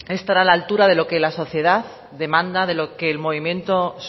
estar a la altura de lo que la sociedad demanda de lo que el movimiento